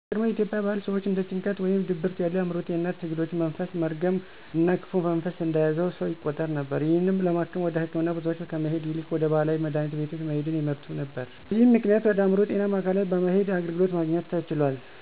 በቀድሞ የኢትዮጵያ ባህል ሰወች እንደ ጭንቀት ወይም ድብርት ያሉ የአዕምሮ ጤንነት ትግሎች መንፈስ፣ መርገም እና ክፉ መንፈስ እንደያዘው ሰው ይቆጠር ነበር። ይህንንም ለማከም ወደ ህክምና ቦታወች ከመሄድ ይልቅ ወደ ባህላዊ መድሀኒት ቤቶች መሄድን ይመርጡ ነበር። ስለዚ ጉዳይ ከሌላ ሰው ጋር ማውራት እንኳን እንደነውር ይቆጠር ነበር። አሁን ላይ ግን በቂ ባይባልም ስለአእምሮ ጤንነት ትኩረት ተሰጥቶት በማህበረሰቡ እውቅና ሊኖረው ችሏል። በዚም ምክንያት ወደ አእምሮ ጤና ማዕከላት በመሄድ አገልግሎትን ማግኘት ተችሏል።